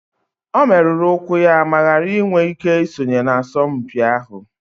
O merụrụ ụkwụ ya ma ghara iwe ike isonye na asọmpi ahụ